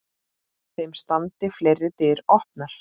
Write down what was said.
Þeim standi fleiri dyr opnar.